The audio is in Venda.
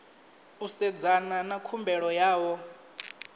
u sedzana na khumbelo yavho